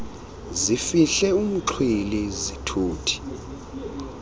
zifihle umxhwili zithuthi